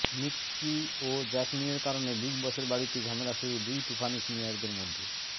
Nikki ও জ্যাসমিনের কারণে বিগ বসের বাড়িতে ঝামেলা শুরু দুই তুফানি সিনিয়রদের মধ্যে